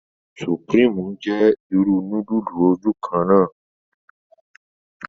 Supreme jẹ ìrù nudulu ojukanna